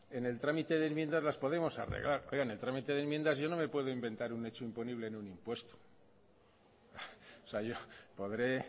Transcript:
en el trámite de enmiendas las podemos arreglar oiga en el trámite de enmiendas yo no me puedo inventar un hecho imponible en un impuesto o sea yo podré